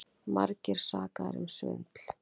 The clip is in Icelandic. Margir sakaðir um svindl